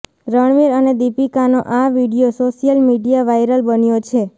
રણવીર અને દીપિકાનો આ વીડિયો સોશિયલ મીડિયાં વાઇરલ બન્યો છે